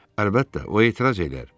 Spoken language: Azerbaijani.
Əlbəttə, o etiraz eləyər.